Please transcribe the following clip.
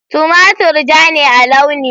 Tumatir ja ne a launi.